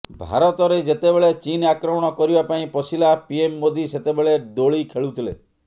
ଭାରତରେ ଯେତେବେଳେ ଚୀନ୍ ଆକ୍ରମଣ କରିବା ପାଇଁ ପଶିଲା ପିଏମ୍ ମୋଦି ସେତେବେଳେ ଦୋଳି ଖେଳୁଥିଲେ